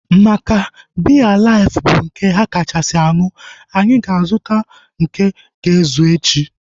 Maka biya life bụ nke ha kachasị aṅụ, anyị ga-azuta nke ga ezu echi